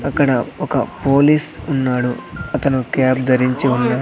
అక్కడ ఒక పోలీస్ ఉన్నాడు అతను కాప్ ధరించి ఉన్నాడు.